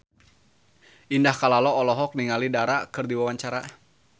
Indah Kalalo olohok ningali Dara keur diwawancara